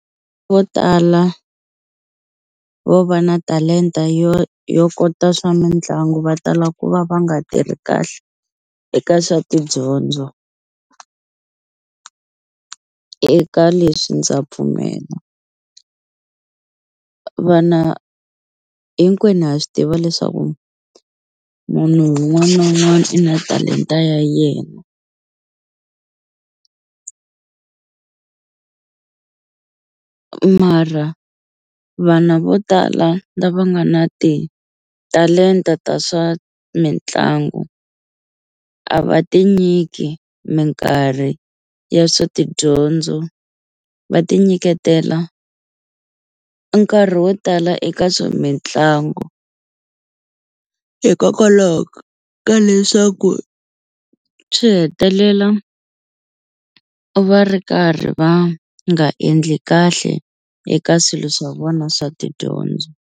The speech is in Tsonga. Vo tala vo va na talenta yo yo kota swa mitlangu va tala ku va va nga tirhi kahle eka swa tidyondzo eka leswi ndza pfumela vana hinkwenu ha swi tiva leswaku munhu wun'wani na un'wani i na talenta ya yena mara vana vo tala lava nga na titalenta ta swa mitlangu a va tinyiki minkarhi ya swa tidyondzo va ti nyiketela nkarhi wo tala eka swa mitlangu hikokwalaho ka leswaku swi hetelela va ri karhi va nga endli kahle eka swilo swa vona swa tidyondzo.